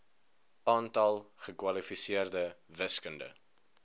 aantal gekwalifiseerde wiskunde